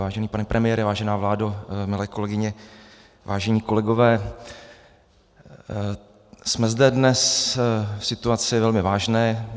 Vážený pane premiére, vážená vládo, milé kolegyně, vážení kolegové, jsme zde dnes v situaci velmi vážné.